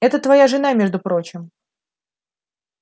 это твоя жена между прочим